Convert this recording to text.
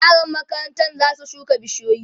yaran makarantan zasu shuka bishiyoyi